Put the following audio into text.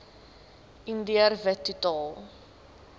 indiër wit totaal